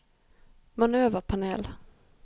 manøverpanel